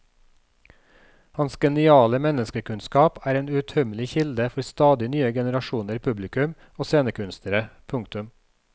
Hans geniale menneskekunnskap er en uuttømmelig kilde for stadig nye generasjoner publikum og scenekunstnere. punktum